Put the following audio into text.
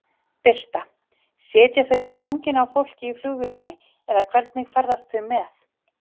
Birta: Sitja þau í fanginu á fólki í flugvélinni eða hvernig ferðast þau með?